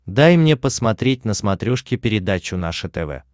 дай мне посмотреть на смотрешке передачу наше тв